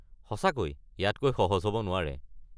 সঁচাকৈ! ইয়াতকৈ সহজ হ'ব নোৱাৰে।